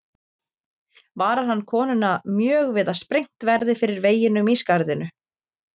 Varar hann konuna mjög við að sprengt verði fyrir veginum í skarðinu.